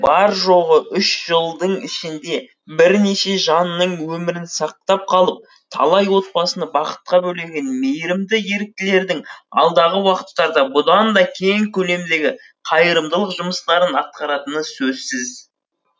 бар жоғы үш жылдың ішінде бірнеше жанның өмірін сақтап қалып талай отбасыны бақытқа бөлеген мейірімді еріктілердің алдағы уақыттарда бұдан да кең көлемдегі қайырымдылық жұмыстарын атқаратыны сөзсіз